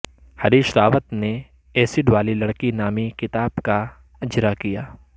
ہریش راوت نے ایسیڈ والی لڑکی نامی کتاب کا اجرا کیا